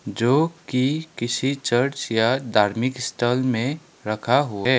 जो कि किसी चर्च या धार्मिक स्थल में रखा हु है।